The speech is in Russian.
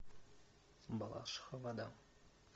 балашиха вода